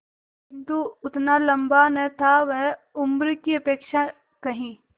किंतु उतना लंबा न था वह उम्र की अपेक्षा कहीं